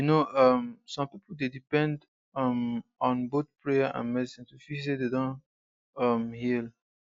you know um some people dey depend um on both prayer and medicine to feel say dem don really um heal